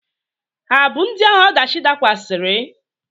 Ha abụ ndị ahụ ọdachi dakwasịrị?